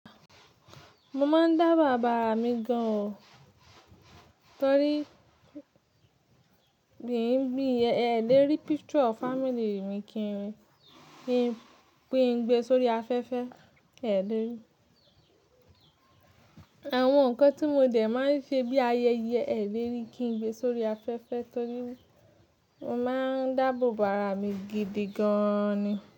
Mo máa ń dáàbò bàrà mi gan o, torí kì í bí ẹ̀ lè rí picture of family mi kí n gbe sórí afẹ́fẹ́ ẹ lè rí. Àwọn nǹkan tí mo jẹ̀ máa ń ṣe bí ayẹyẹ ẹ lè rí kí n gbe sórí afẹ́fẹ́ torí mo máa ń dáàbò bàrà mi gidi gan ni.